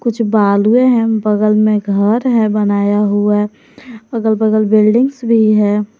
कुछ बालूए है बगल में घर है बनाया हुआ अगल बगल बिल्डिंग्स भी है।